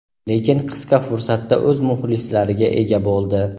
lekin qisqa fursatda o‘z muxlislariga ega bo‘ldi.